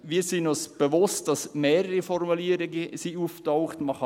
Wir sind uns bewusst, dass mehrere Formulierungen aufgetaucht sind.